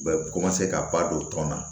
U bɛ ka ba don tɔn na